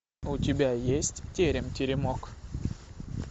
у тебя есть терем теремок